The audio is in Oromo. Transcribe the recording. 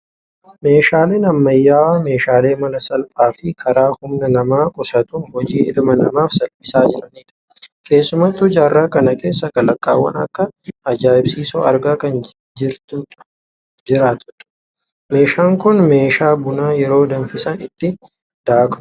Meeshaaleen ammayyaawaa, meeshaalee mala salphaa fi karaa humna namaa qusatuun hojii ilma namaaf salphisaa jiranidha. Keessumattuu jaarraa kana keessaa kalaqaawwan akkaan ajaa'ibsiisoo argaa kan jirtudha. Meeshaan Kun meeshaa buna yeroo danfisan itti daakudha.